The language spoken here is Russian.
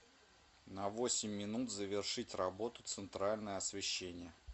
на восемь минут завершить работу центральное освещение